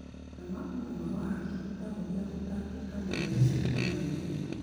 Mathĩna ma ũgima wa hakiri ta ũrĩa gũtangĩka ma meciria maingĩ